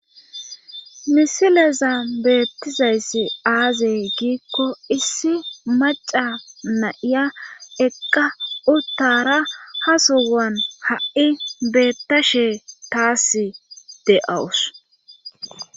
misileza beettizayssi aaze giikko issi maca na'iya eqqa uttara hasowan ha'i beettashe taas de7awus.